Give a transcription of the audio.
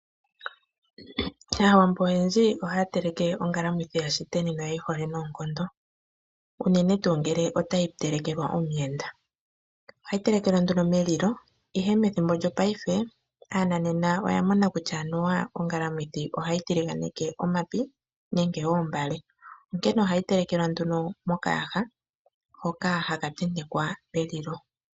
Aawambo oyendji ohaya teleke ongalamwidhi yaShiteni no yeyi hole noonkondo. Unene tuu ngele otayi telekelwa omuyenda. Ohayi telekelwa nduno melilo. Ihe methipo lyo paife, aananena oya mona kutya anuwa ongalamwithi ohayi tiliganeke omapi nenge oombale, onkene ohayi telekelwa nduno mokayaha hoka haka tentekwa melilo.